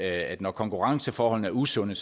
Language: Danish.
at når konkurrenceforholdene er usunde